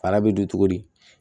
Fara bɛ don cogo di